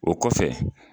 O kɔfɛ